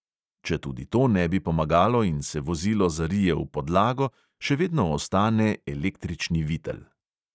Če tudi to ne bi pomagalo in se vozilo zarije v podlago, še vedno ostane električni vitel.